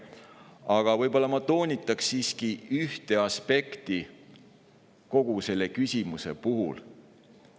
Aga ma toonitan siiski üht aspekti kogu selle küsimuse puhul.